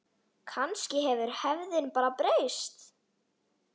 Kannski hefur hefðin bara breyst.